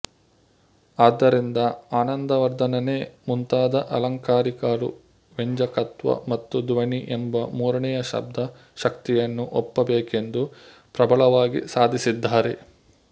ಆದ್ದರಿಂದ ಆನಂದವರ್ಧನನೇ ಮುಂತಾದ ಆಲಂಕಾರಿಕರು ವ್ಯಂಜಕತ್ವ ಅಥವಾ ಧ್ವನಿ ಎಂಬ ಮೂರನೆಯ ಶಬ್ದ ಶಕ್ತಿಯನ್ನು ಒಪ್ಪಬೇಕೆಂದು ಪ್ರಬಲವಾಗಿ ಸಾಧಿಸಿದ್ದಾರೆ